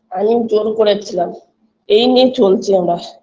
আমি জোর করেছিলাম এই নিয়ে চলছি আমরা